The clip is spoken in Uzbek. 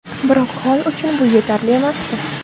Biroq Holl uchun bu yetarli emasdi.